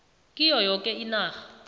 kiyo yoke inarha